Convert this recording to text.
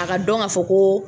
A ka dɔn k'a fɔ ko